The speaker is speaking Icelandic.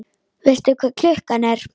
Veistu hvað klukkan er?